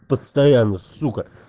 постоянно сука